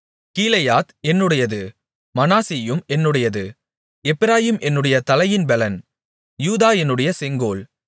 கீலேயாத் என்னுடையது மனாசேயும் என்னுடையது எப்பிராயீம் என்னுடைய தலையின் பெலன் யூதா என்னுடைய செங்கோல்